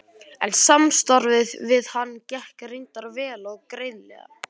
En samstarfið við hann gekk reyndar vel og greiðlega.